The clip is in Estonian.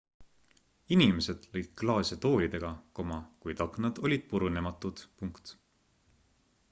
inimesed lõid klaase toolidega kuid aknad olid purunematud